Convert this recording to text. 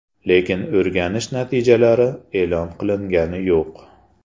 Lekin o‘rganish natijalari e’lon qilingani yo‘q.